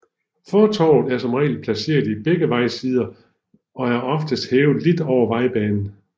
Fortovet er som regel placeret i begge vejsider og er oftest hævet lidt over vejbanen